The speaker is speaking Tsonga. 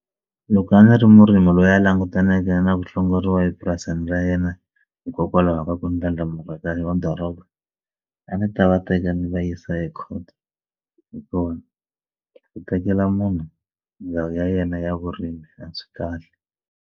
Loko a ndzi ri murimi loyi a langutaneke na ku hlongoriwa epurasini ra yena hikokwalaho ka ku ndlandlamuka ka madoroba a ni ta va teka ni va yisa ekhoto hi kona ku tekela munhu ndhawu ya yena ya vurimi a swi kahle.